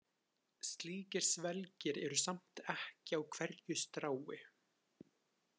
Slíkir svelgir eru samt ekki á hverju strái.